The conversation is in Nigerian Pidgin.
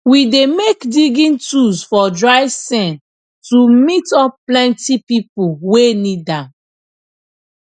we dey make digging tools for dry sean to meet up plenty people wey need am